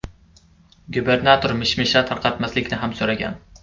Gubernator mish-mishlar tarqatmaslikni ham so‘ragan.